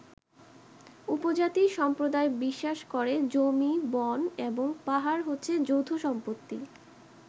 উপজাতি সম্প্রদায় বিশ্বাস করে জমি, বন এবং পাহাড় হচ্ছে যৌথ সম্পত্তি।